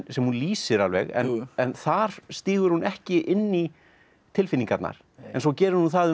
sem hún lýsir alveg en þar stígur hún ekki inn í tilfinningarnar en svo gerir hún það um